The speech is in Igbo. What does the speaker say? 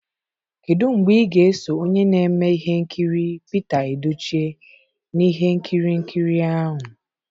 Kedu mgbe ị ga-eso onye na-eme ihe nkiri Pita Edochie na ihe nkiri nkiri ahụ?